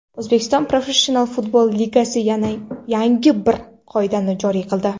O‘zbekiston Professional futbol Ligasi yangi bir qoidani joriy qildi.